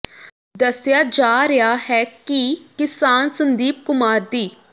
ਦੱਸਿਆ ਜਾ ਰਿਹਾ ਹੈ ਕਿ ਕਿਸਾਨ ਸੰਦੀਪ ਕੁਮਾਰ ਦੀ